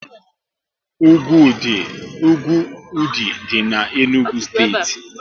Úgwù Ụdị dị n'Enugu steeti